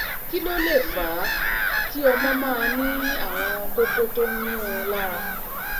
kí ló lè fà á kí ọmọ máa ní àwọn kókó tó ń yuún un lára?